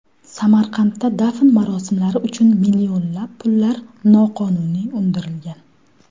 Samarqandda dafn marosimlari uchun millionlab pullar noqonuniy undirilgan.